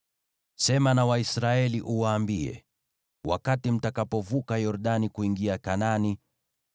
“Sema na Waisraeli, uwaambie: ‘Mtakapovuka Yordani kuingia Kanaani,